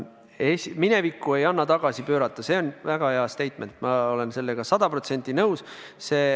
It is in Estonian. Minevikku ei anna tagasi pöörata, see on väga hea statement, ma olen sellega sada protsenti nõus.